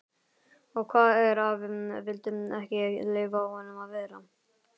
Og hvað ef afi vildi ekki leyfa honum að vera?